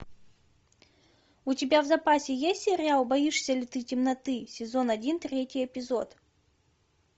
у тебя в запасе есть сериал боишься ли ты темноты сезон один третий эпизод